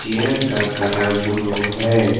यह का colour blue है।